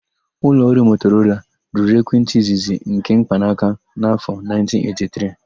Ụlọọrụ Motorola rụrụ ekwentị izizi nke mkpanaka n'afọ 1983.